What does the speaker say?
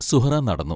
സുഹ്റാ നടന്നു.